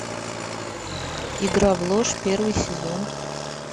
игра в ложь первый сезон